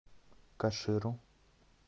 каширу